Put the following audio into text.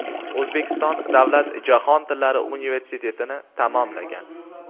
O‘zbekiston davlat jahon tillari universitetini tamomlagan.